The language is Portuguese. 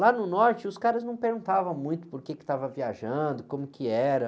Lá no norte, os caras não perguntavam muito por que que estava viajando, como que era.